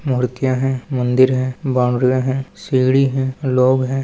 मूर्तियां है मंदिर है बावड़ियां है सीढ़ी है लोग है।